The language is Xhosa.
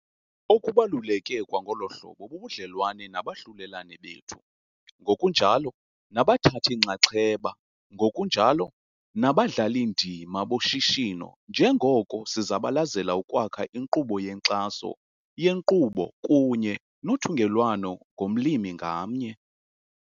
Okubaluleke kwangolo hlobo bubudlelwane nabahlulelani bethu ngokunjalo nabathathi-nxanxeba ngokunjalo nabadlali-ndima boshishino njengoko sizabalezela ukwakha inkqubo yenkxaso yenkqubo kunye nothungelwano ngomlimi ngamnye.